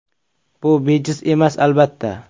Bu bejiz emas, albatta.